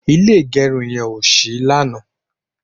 ilé igerun yen o sí lanaa